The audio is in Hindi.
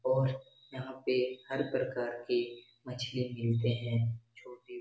और यहाँ पे हर प्रकार के मछली मिलते हैं छोटे --